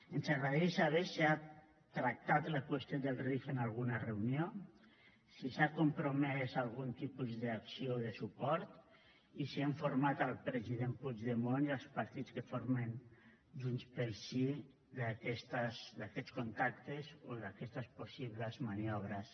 ens agradaria saber si ha tractat la qüestió del rif en alguna reunió si s’ha compromès a algun tipus d’acció o de suport i si ha informat el president puigdemont i els partits que formen junts pel sí d’aquests contactes o d’aquestes possibles maniobres